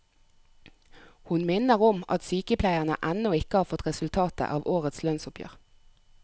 Hun minner om at sykepleierne ennå ikke har fått resultatet av årets lønnsoppgjør.